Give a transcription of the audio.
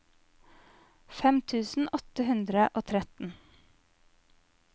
fem tusen åtte hundre og tretten